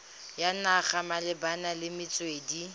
ya naga malebana le metswedi